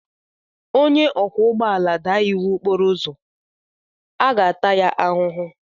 Onye ọkwọ ụgbọala daa iwu okporo ụzọ, a ga-ata ya ahụhụ.